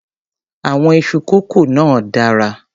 Àwọn iṣu kọ́kó náà dára.